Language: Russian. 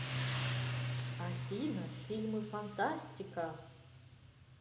афина фильмы фантастика